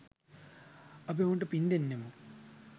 අපි ඔවුන්ට පින් දෙන්නෙමු.